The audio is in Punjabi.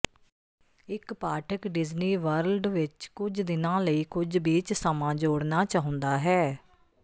ਇੱਕ ਪਾਠਕ ਡਿਜ਼ਨੀ ਵਰਲਡ ਵਿੱਚ ਕੁਝ ਦਿਨਾਂ ਲਈ ਕੁਝ ਬੀਚ ਸਮਾਂ ਜੋੜਨਾ ਚਾਹੁੰਦਾ ਹੈ